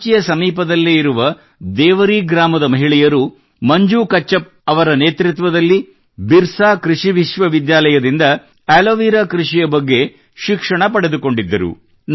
ರಾಂಚಿಯ ಸಮೀಪದಲ್ಲೇ ಇರುವ ದೇವರೀ ಗ್ರಾಮದ ಮಹಿಳೆಯರು ಮಂಜೂ ಕಚ್ಚಪ್ ಅವರ ನೇತೃತ್ವದಲ್ಲಿ ಬಿರ್ಸಾ ಕೃಷಿ ವಿದ್ಯಾಲಯದಿಂದ ಆಲೋವೆರಾ ಕೃಷಿಯ ಬಗ್ಗೆ ಶಿಕ್ಷಣ ಪಡೆದುಕೊಂಡಿದ್ದರು